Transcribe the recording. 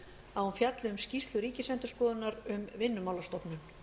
að hún fjalli um skýrslu ríkisendurskoðunar um vinnumálastofnun